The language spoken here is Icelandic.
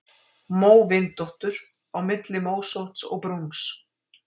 Móvindóttur: Á milli mósótts og brúns.